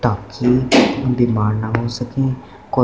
ताकि बीमार ना हो सके को--